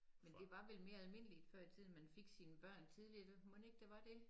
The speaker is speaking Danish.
Men det var vel mere almindeligt før i tiden man fik sine børn tidligt mon ikke det var det?